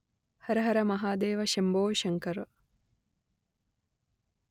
Hara Hara మహాదేవశంభో Shankara